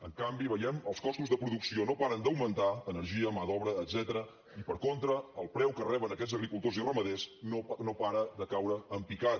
en canvi veiem que els costos de producció no paren d’augmentar energia mà d’obra etcètera i per contra el preu que reben aquests agricultors i ramaders no para de caure en picat